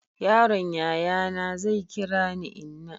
yaron yayana zai kira ni inna